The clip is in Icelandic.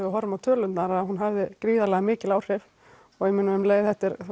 við horfum á tölurnar að hún hafi gríðarlega mikil áhrif og um leið